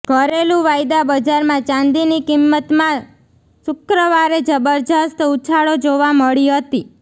ઘરેલુ વાયદા બજારમાં ચાંદીની કિંમતમાં શુક્રવારે જબરજસ્ત ઉછાળો જોવા મળી હતી